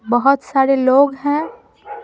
बहुत सारे लोग हैं ।